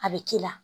A bɛ k'i la